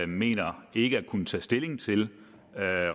mener ikke at kunne tage stilling til